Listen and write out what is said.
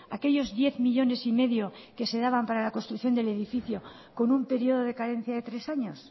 aquellos diez millónes y medio que se daban para la construcción del edificio con un periodo de carencia de tres años